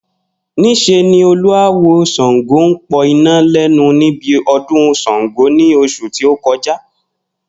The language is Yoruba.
Nís̩e ni olú awo S̩àngó ń po̩ iná lé̩nu níbi o̩dún S̩àngó ní os̩ù ti ó ko̩já